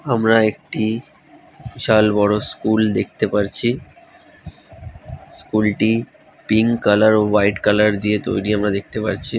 আমরা একটি বিশাল বড়ো স্কুল দেখতে পাচ্ছি। স্কুলটি পিঙ্ক কালার হোয়াইট কালার দিয়ে তৈরী আমরা দেখতে পারচ্ছি ।